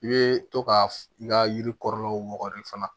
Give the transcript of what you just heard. I bɛ to ka i ka yiri kɔrɔlaw wɔgɔli fana